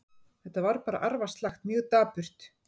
Þetta var bara arfaslakt, mjög dapurt.